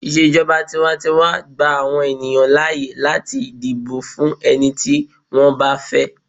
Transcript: ijoba tiwantiwa gba àwọn ènìyàn láyè láti dibo fún ẹni tí wan ba fẹ